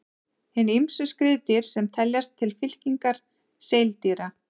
Hin ýmsu skriðdýr sem teljast til fylkingar seildýra.